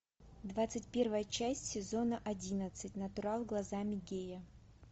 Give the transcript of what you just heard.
двадцать первая часть сезона одиннадцать натурал глазами гея